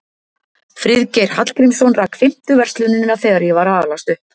Friðgeir Hallgrímsson rak fimmtu verslunina þegar ég var að alast upp.